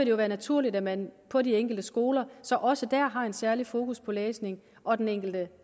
jo være naturligt at man på de enkelte skoler så også har et særligt fokus på læsning og at den enkelte